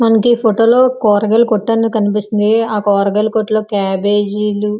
మనకి ఈ ఫోటోలు కూరగాయల కొట్టు అనేది కనిపిస్తుంది. కూరగాయల కొట్టను క్యాబేజ్ --